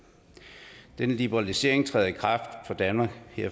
denne liberalisering træder i kraft for danmark her